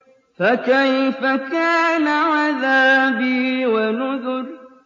فَكَيْفَ كَانَ عَذَابِي وَنُذُرِ